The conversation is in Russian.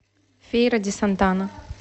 фейра ди сантана